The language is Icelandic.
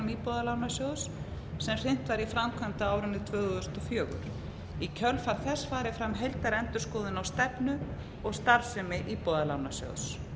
íbúðalánasjóðs sem hrint var í framkvæmd á árinu tvö þúsund og fjögur í kjölfar þess fari fram heildarendurskoðun á stefnu og starfsemi íbúðalánasjóðs